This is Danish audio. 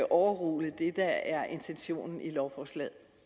overrule det der er intentionen i lovforslaget